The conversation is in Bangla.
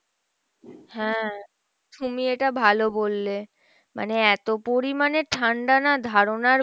হ্যাঁ, তুমি এটা ভালো বললে মানে এত পরিমাণে ঠাণ্ডা না ধারণার